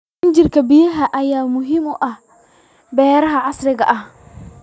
Injineerka biyaha ayaa muhiim u ah beeraha casriga ah.